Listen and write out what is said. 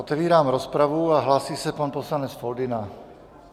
Otevírám rozpravu a hlásí se pan poslanec Foldyna.